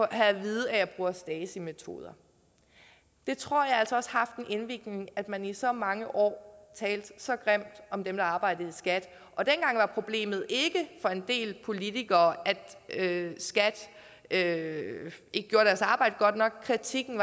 at vide at jeg bruger stasi metoder det tror jeg altså også har haft en indvirkning altså at man i så mange år talt så grimt om dem der arbejdede i skat dengang var problemet for en del politikere ikke at skat ikke gjorde deres arbejde godt nok kritikken